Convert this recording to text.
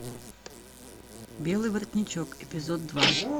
белый воротничок эпизод два